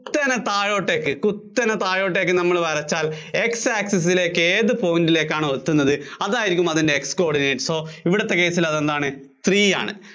കുത്തനെ താഴോട്ടേക്ക്, കുത്തനെ താഴോട്ടേക്ക് നമ്മള്‍ വരച്ചാല്‍ x access ലേക്ക് ഏത് point ലേക്കാണോ എത്തുന്നത് അതായിരിക്കും അതിന്‍റെ x coordinates. so ഇവിടുത്തെ case ല്‍ അതെന്താണ് three ആണ്.